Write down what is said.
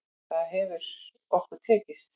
Það hefur okkur tekist.